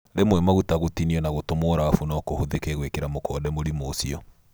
Rĩmwe maguta gũtinio na gũtũmwo rabu no kũhũthĩke gwĩkĩra mũkonde mũrimũ ũcio